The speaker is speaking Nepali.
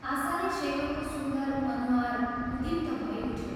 आशाले शेखरको सुन्दर अनुहार उद्दीप्त भै उठ्यो।